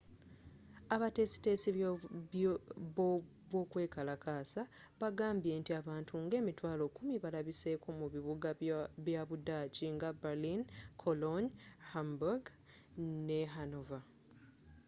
abateesiteesi b'okwekalakasa bagamba nti abantu nga 100,000 balabiseko mu bibuga bya budaaki nga berlin cologne hamburg ne hanover